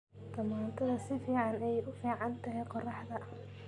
Tamaandhada si fiican ayay u fiican tahay qorraxda.